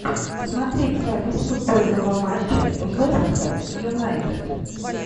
смотреть запись футбольного матча вест хэм юнайтед